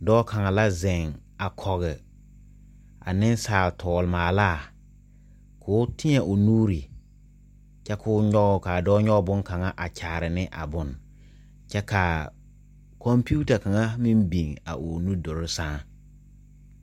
Doɔ kang la zeng a kɔg a ninsaal toɔle maalaa kou teẽ ɔ nuuri kye kuo nyuge kaa doɔ nyuge bunkanga a kyaare e a bun kye kaa komputar kanga meng bing ɔ nuduri sen.